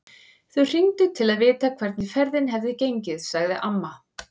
Þau hringdu til að vita hvernig ferðin hefði gengið, sagði amma.